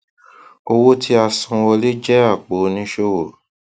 owó tíasanwọlé jẹ apò oníṣòwò